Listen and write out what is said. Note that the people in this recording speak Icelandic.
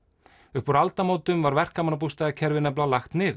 upp úr aldamótum var verkamannabústaðakerfið nefnilega lagt niður